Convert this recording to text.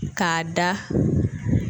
K'a da